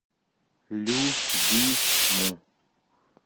любиму